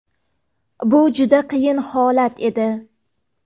Bu juda qiyin holat edi.